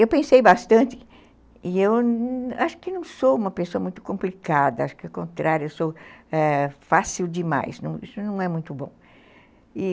Eu pensei bastante, e eu acho que não sou uma pessoa muito complicada, ao contrário, eu sou fácil ãh demais, isso não é muito bom, e